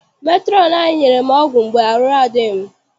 Metrọn anyị nyere m ọgwụ mgbe arụ adịghị m.